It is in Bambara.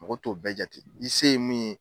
Mɔgɔ t'o bɛɛ jate i se ye min ye